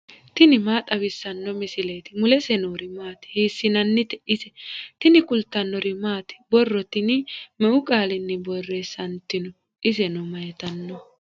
tini maa xawissanno misileeti ? mulese noori maati ? hiissinannite ise ? tini kultannori maati? borro tinni meu qaalinni borreessanitinno? isenno mayiittanno?